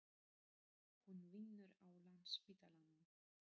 Hún vinnur á Landspítalanum.